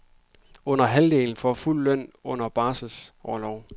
Under halvdelen får fuld løn under barselorlov.